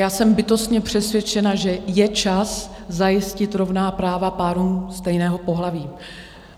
Já jsem bytostně přesvědčena, že je čas zajistit rovná práva párům stejného pohlaví.